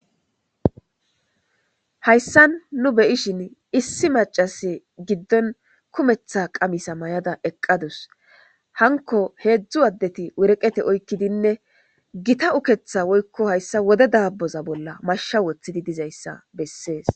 hayssan nu beyishin issi macase giddon kumetha qamisa may7ada eqqadus hanko heedzdzu addeti wureqete oykkidinne gita uketha woykko hayssa wode daaboza bolla mashsha woththidi dizayssa bessees